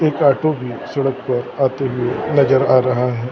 एक ऑटो भी सड़क पर आते हुए नजर आ रहा है।